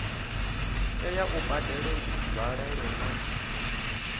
tea u badela nzwalelo na